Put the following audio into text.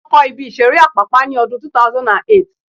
Wọ́n kọ́ ibi ìseré Àpápá ní ọdún 2008